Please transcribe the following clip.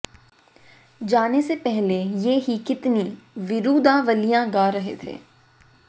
जाने से पहले ये ही कितनी विरुदावलियां गा रहे थे